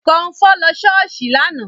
Kọmfọ́ lọ ṣọ́ọ̀ṣì lánàá